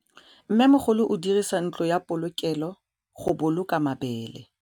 Mmêmogolô o dirisa ntlo ya polokêlô, go boloka mabele.